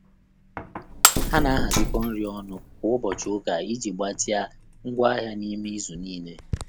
Há nà-àhàzị́kọ́ nrí ọ́nụ́ kwá ụ́bọ̀chị̀ ụka ìjí gbàtị́à ngwá áhị́à n’ímé ízù níílé.